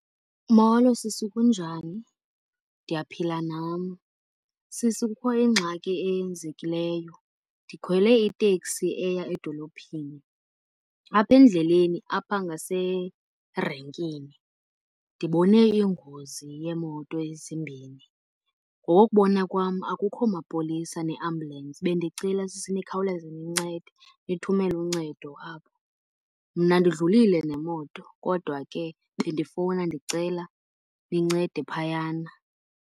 Molo sisi. Kunjani? Ndiyaphila nam. Sisi, kukho ingxaki eyenzekileyo. Ndikhwele iteksi eya edolophini, apha endleleni apha ngaserenkini ndibone ingozi yeemoto ezimbini. Ngokokubona kwam akukho mapolisa nee-ambulence, bendicela sisi nikhawuleze nincede, nithumele uncedo apho. Mna ndidlulile nemoto kodwa ke bendifowuna ndicela nincede phayana.